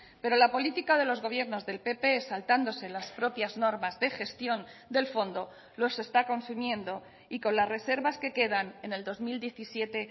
pero la política de los gobiernos del pp saltándose las propias normas de gestión del fondo los está consumiendo y con las reservas que quedan en el dos mil diecisiete